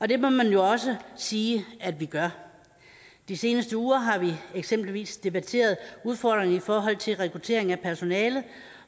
det må man jo også sige at vi gør de seneste uger har vi eksempelvis debatteret udfordringerne i forhold til rekruttering af personale